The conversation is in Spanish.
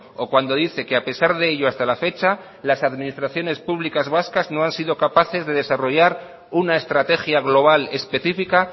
o cuando dice que a pesar de ello hasta la fecha las administraciones públicas vascas no han sido capaces de desarrollar una estrategia global específica